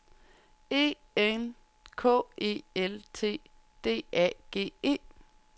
E N K E L T D A G E